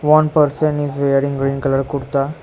One person is wearing green colour kurta.